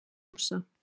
Anna Rósa